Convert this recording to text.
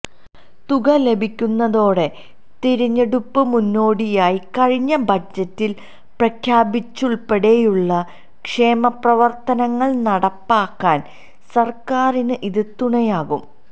തുക ലഭിക്കുന്നതോടെ തിരഞ്ഞെടുപ്പിന് മുന്നോടിയായി കഴിഞ്ഞ ബജറ്റിൽ പ്രഖ്യാപിച്ചതുൾപ്പടെയുള്ള ക്ഷേമപ്രവർത്തനങ്ങൾ നടപ്പിലാക്കാൻ സർക്കാരിന് ഇത് തുണയാകും